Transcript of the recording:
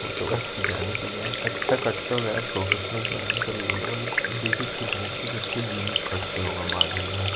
photo बस खिचाने के लिए गए हैं अच्छा कटता होगा यार प्रोफेशनल सेलून कुछ ब्लू-ब्लू देखिच कए लगत हैं कुछ यूनिक कटता होगा बाल उल यहाँ --